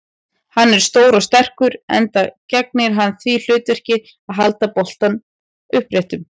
Hann er stór og sterkur, enda gegnir hann því hlutverki að halda bolnum uppréttum.